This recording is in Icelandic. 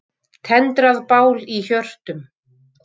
Tendrað bál í hjörtum.